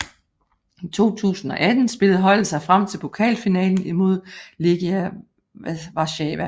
I 2018 spillede holdet sig frem til pokalfinalen imod Legia Warszawa